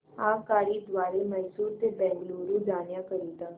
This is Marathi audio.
आगगाडी द्वारे मैसूर ते बंगळुरू जाण्या करीता